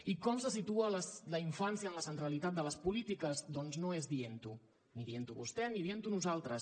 i com se situa la infància en la centralitat de les polítiques doncs no és dientho ni dient ho vostè ni dient ho nosaltres